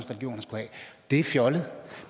det var fjollet